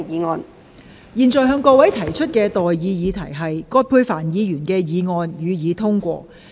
我現在向各位提出的待議議題是：葛珮帆議員動議的議案，予以通過。